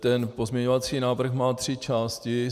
Ten pozměňovací návrh má tři části.